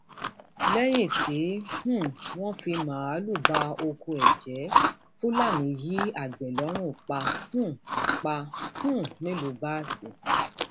lẹyìn tí um wọn fi máàlùú bá ọkọ ẹ jẹ fúlàní yin àgbẹ lọrun pa um pa um nílùú báàsì